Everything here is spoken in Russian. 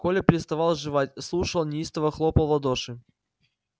коля переставал жевать слушал неистово хлопал в ладоши